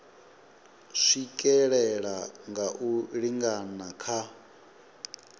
swikelela nga u lingana kha